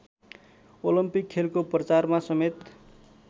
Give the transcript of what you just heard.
Olympic खेलको प्रचारमा समेत